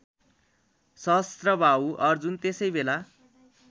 सहस्त्रबाहु अर्जुन त्यसैबेला